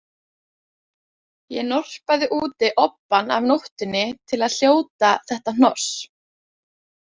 Ég norpaði úti obbann af nóttunni til að hljóta þetta hnoss